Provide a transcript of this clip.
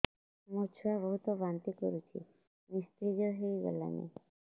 ମୋ ଛୁଆ ବହୁତ୍ ବାନ୍ତି କରୁଛି ନିସ୍ତେଜ ହେଇ ଗଲାନି